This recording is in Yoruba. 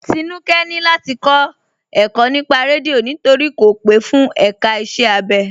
Tínúkẹ̀ ni láti kọ ẹ̀kọ̀ nípà rẹ́díọ̀ nítorí kò pe fún èká ìṣẹ̀ abẹ.